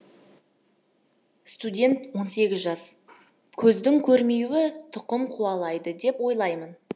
студент жас көздің көрмеуі тұқым қуалайды деп ойлаймын